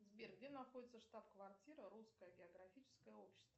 сбер где находится штаб квартира русское географическое общество